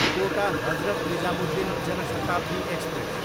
कोटा, Hazrat Nizamuddin Jan Shatabdi express